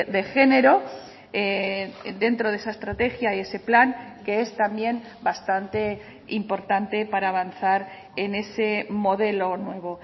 de género dentro de esa estrategia y ese plan que es también bastante importante para avanzar en ese modelo nuevo